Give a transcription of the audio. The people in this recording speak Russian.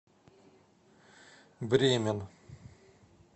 бремен